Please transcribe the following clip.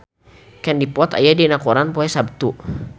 Katie Dippold aya dina koran poe Saptu